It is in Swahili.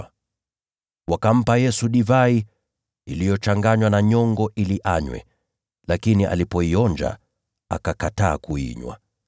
Hapo wakampa Yesu divai iliyochanganywa na nyongo ili anywe; lakini alipoionja, akakataa kuinywa.